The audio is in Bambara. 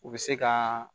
U bɛ se ka